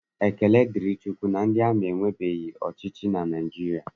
Ekele dịrị Chukwu na ndị ewerebeghị ọchịchị na Naịjirịa